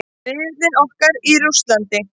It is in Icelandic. Riðillinn okkar í Rússlandi.